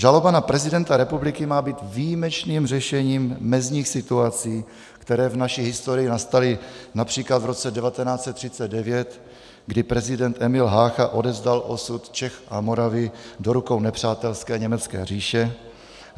Žaloba na prezidenta republiky má být výjimečným řešením mezních situací, které v naší historii nastaly například v roce 1939, kdy prezident Emil Hácha odevzdal osud Čech a Moravy do rukou nepřátelské německé říše.